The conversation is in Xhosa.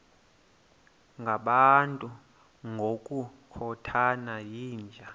ngabantu ngokukhothana yinja